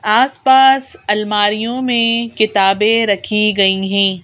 आस-पास अलमारियों में किताबें रखी गई हैं।